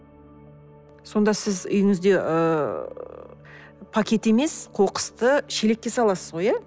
сонда сіз үйіңізде ыыы пакет емес қоқысты шелекке саласыз ғой иә